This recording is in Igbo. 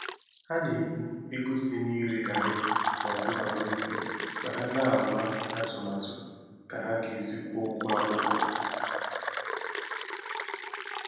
Ha na-ebu ego si na ire garrị na ọkụkọ n'obi ma ha na-ama atụmatụ ka ha ga esi kwụọ ụgwọ akwụkwọ